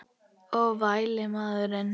Og vælið maður.